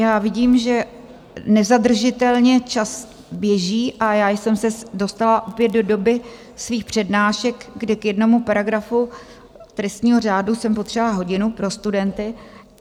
Já vidím, že nezadržitelně čas běží, a já jsem se dostala opět do doby svých přednášek, kdy k jednomu paragrafu trestního řádu jsem potřebovala hodinu pro studenty.